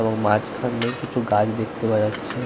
এবং মাঝখানে কিছু গাছ দেখতে পাওয়া যাচ্ছে।